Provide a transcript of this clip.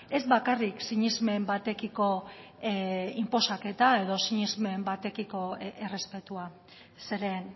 ez bakarrik sinesmen batekiko inposaketa edo sinesmen batekiko errespetua zeren